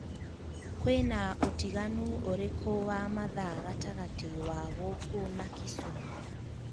kwīna ūtiganu ūrikū wa mathaa gatagati wa gūkū na kisumu